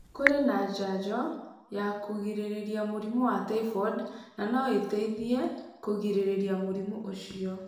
Kũrĩ na njajo ya kũgirĩrĩria mũrimũ wa typhoid na no ĩteithie kũgirĩrĩria mũrimũ ũcio.